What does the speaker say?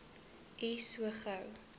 u so gou